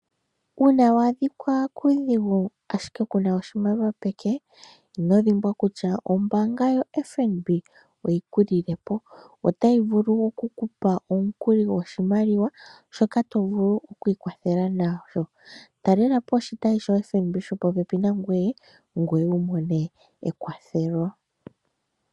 Una wadhika kuudhigu ashike kuna oshimaliwa peke ino dhimbwa kutya ombanga yoFNB oyi kulilepo ,ota yi vulu oku kupa omukuli goshimaliwa shoka tovulu okwikwathela nasho talela po oshitayi sho FNB sho po pepi nangwe ngoye wumone ekwathelo.